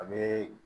A bɛ